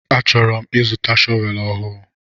A chọrọ m ịzụta shọvel ọhụụ.